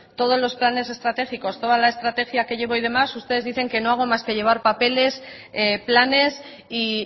todos los planes estratégicos toda la estrategia que llevo hoy de más ustedes dicen que no hago más que llevar papeles planes y